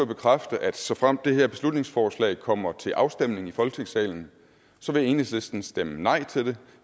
bekræfte at såfremt det her beslutningsforslag kommer til afstemning i folketingssalen så vil enhedslisten stemme nej til det